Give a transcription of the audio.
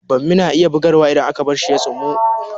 Bammi na iya bugarwa idan aka bar shi ya tsumu